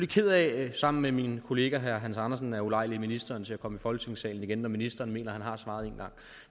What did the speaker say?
ked af sammen med min kollega herre hans andersen at ulejlige ministeren til at komme i folketingssalen igen når ministeren mener han har svaret en gang